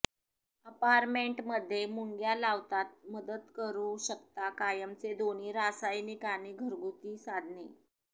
apartment मध्ये मुंग्या लावतात मदत करू शकता कायमचे दोन्ही रासायनिक आणि घरगुती साधने